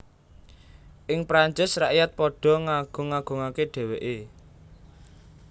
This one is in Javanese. Ing Prancis rakyat padha ngagung agungaké dhèwèké